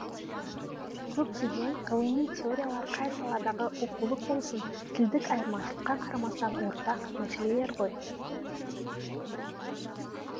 көптеген ғылыми теориялар қай саладағы оқулық болсын тілдік айырмашылыққа қарамастан ортақ мәселелер ғой